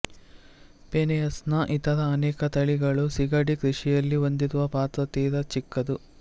Penaeus ನ ಇತರ ಅನೇಕ ತಳಿಗಳು ಸೀಗಡಿ ಕೃಷಿಯಲ್ಲಿ ಹೊಂದಿರುವ ಪಾತ್ರ ತೀರ ಚಿಕ್ಕದ್ದು